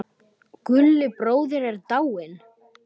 Gulli bróðir er dáinn.